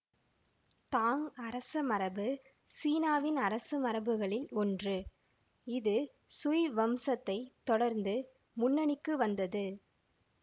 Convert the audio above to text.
தாங் அரசமரபு சீனாவின் அரசமரபுகளில் ஒன்று இது சுய் வம்சத்தைத் தொடர்ந்து முன்னணிக்கு வந்தது